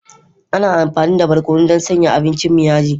Ana amfani da barkono don sanya abincin mu yaji.